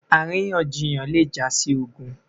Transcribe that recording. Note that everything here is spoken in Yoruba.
àríyànjiyàn le ja si ogun